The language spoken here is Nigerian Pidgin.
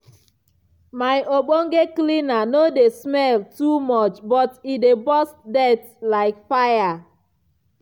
my ogbonge cleaner no dey smell too much but e dey burst dirt like fire!.